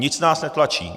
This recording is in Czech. Nic nás netlačí.